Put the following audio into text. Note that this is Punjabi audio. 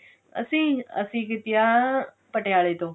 ਅਸੀਂ ਅਸੀਂ ਕੀਤੀ ਆ ਪਟਿਆਲੇ ਤੋਂ